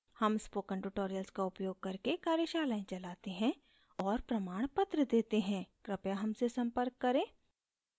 हम spoken tutorials का उपयोग करके कार्यशालाएं चलाते हैं और प्रमाणपत्र देते हैं कृपया हमसे संपर्क करें